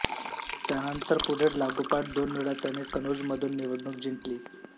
त्यानंतर पुढे लागोपाठ दोनवेळा त्याने कनोजमधून निवडणूक जिंकली